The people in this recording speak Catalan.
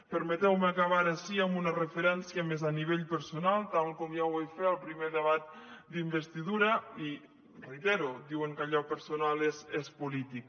permeteu me acabar ara sí amb una referència més a nivell personal tal com ja ho vaig fer al primer debat d’investidura i ho reitero diuen que allò personal és polític